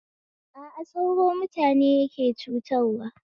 A a sauro mutane yake cutarwa